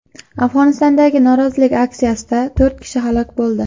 Afg‘onistondagi norozilik aksiyasida to‘rt kishi halok bo‘ldi.